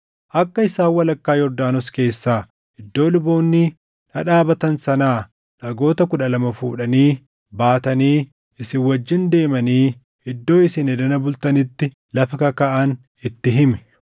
akka isaan walakkaa Yordaanos keessaa iddoo luboonni dhadhaabatan sanaa dhagoota kudha lama fuudhanii, baatanii isin wajjin deemanii iddoo isin edana bultanitti lafa kakaaʼan itti himi.”